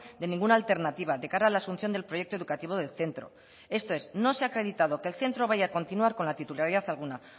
de ninguna alternativa de cara a la asunción del proyecto educativo del centro esto es no se ha acreditado que el centro vaya a continuar con la titularidad alguna